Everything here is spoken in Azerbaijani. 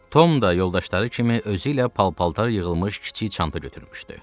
Tom da yoldaşları kimi özü ilə pal-paltar yığılmış kiçik çanta götürmüşdü.